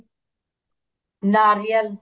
ਨਾਰੀਅਲ